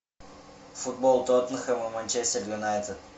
футбол тоттенхэма манчестер юнайтед